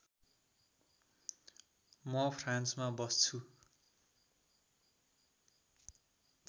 म फ्रान्समा बस्छु